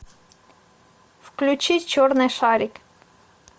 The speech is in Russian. включи черный шарик